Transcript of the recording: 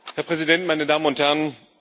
Herr Präsident, meine Damen und Herren!